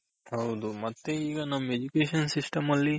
ಹೌದು ಮತ್ತೆ ಈಗ ನಮ್ Education system ಅಲ್ಲಿ